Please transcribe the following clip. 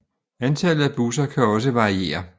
Antallet af busser kan også variere